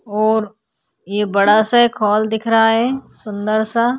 और ये बड़ा -सा एक हॉल दिख रहा है सुंदर -सा --